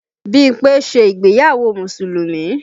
Bímpé ṣe ìgbéyàwó Mùsùlùmí